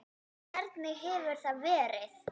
Hvernig hefur það verið?